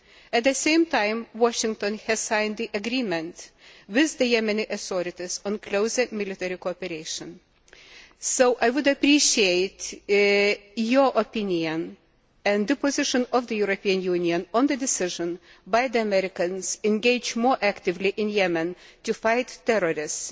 At the same time, Washington has signed the agreement with the Yemeni authorities on closer military cooperation. So, I would appreciate your opinion and the position of the European Union on the decision by the Americans to engage more actively in Yemen to fight terrorists,